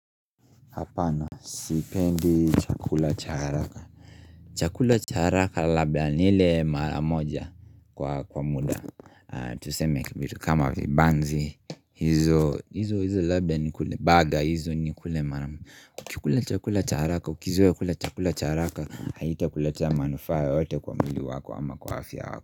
Apana Sipendi chakula cha haraka chakula cha haraka labda nile maramoja kwa muda Tuseme kama vibanzi hizo hizo labia ni kule baga hizo ni kule maramoja Ukikula chakula cha haraka ukizoe kula chakula cha haraka Haita kuletea manufaa yeyote kwa mwili wako ama kwa afya wako.